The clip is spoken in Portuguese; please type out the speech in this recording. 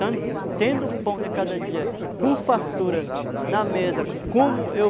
Tendo pão de cada dia, com fartura na mesa, como eu